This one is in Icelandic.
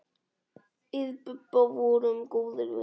Við Bubba vorum góðir vinir.